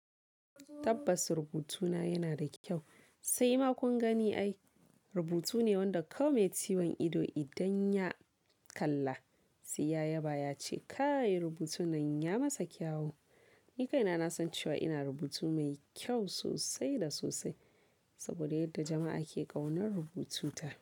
Tabbas rubutuna yana da kyau, sai ma kun gani ai rubutu ne wanda kawai mai ciwon ido idan ya kalla, sai ya yaba ya ce "kai rubutun nan ya masa kyawu". Ni kaina na san cewa ina rubutu mai kyau sosai da sosai saboda yadda jama'a ke ƙaunar rubututa.